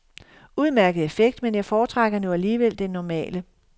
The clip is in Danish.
Udmærket effekt, men jeg foretrækker nu alligevel den normale.